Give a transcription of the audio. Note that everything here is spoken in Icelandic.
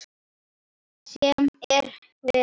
Sem er verra.